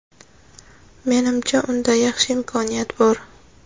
Menimcha, unda yaxshi imkoniyat bor.